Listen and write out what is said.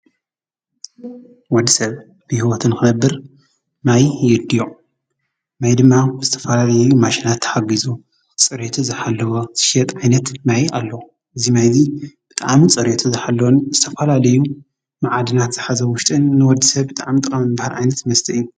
ወድ ሰብ ሊህወትን ኽነብር ማይ የድዮ ማይ ድማ ምስተፈላለለዩ ማሽናት ተሓጊዙ ጸርቱ ዝሓለወ ስሸጥ ኣይነት ማይ ኣሎዉ እዙይ ማይ እዙ ብጥኣምን ጸርዮቱ ዝሓለወን ምስተፈላሌዩ መዓድናት ዝሓዘ ውሽጥን ንወድ ሰብ ብጥኣም ጥቐም እምበሃር ኣይነት እዩ